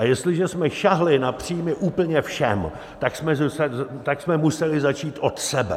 A jestliže jsme sáhli na příjmy úplně všem, tak jsme museli začít od sebe.